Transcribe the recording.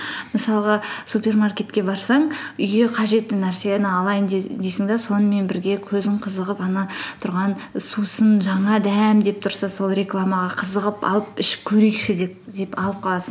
мысалға супермаркетке барсаң үйге қажетті нәрсені алайың дейсің де сонымен бірге көзің қызығып ана тұрған сусын жаңа дәм деп тұрса сол рекламаға қызығып алып ішіп көрейікші деп алып қаласың